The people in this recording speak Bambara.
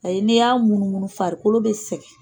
Ayi n'i y'a munumunu farikolo bɛ sɛgɛn.